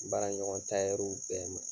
N baara ɲɔgɔn tayɛriw bɛɛ ma.